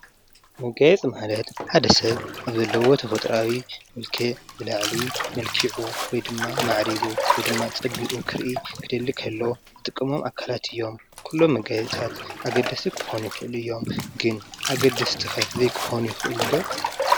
መጋየፂ ማለት ሓደ ሰብ አብ ዘለዎ ተፈጥራዊ መልክዕ ብላዕሊ መልኪዑ ወይ ድማ ማዓሪጉ ወይ ፀቢቁ ክሪኢ ክደሊ ከሎ ዝጥቀሞ አካላት እዬም። ኩሎም መገያየፅታት አገደስቲ ክኮኑ ይክእሉ እዮም ግን አገደስቲ ከ ዘይክኮኑ ይክእሉ ዶ?